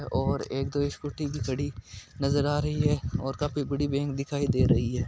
और एक स्कूटी भी खड़ी है नजर आ रही है और काफी बड़ी बैंक दिखाई दे रही है।